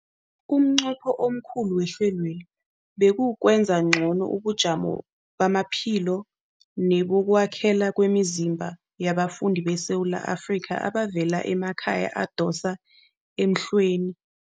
Umnqopho omkhulu wehlelweli kukwenza ngcono ubujamo bamaphilo nebokwakhela kwemizimba yabafundi beSewula Afrika abavela emakhaya adosa emhlweni.